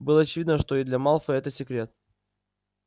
было очевидно что и для малфоя это секрет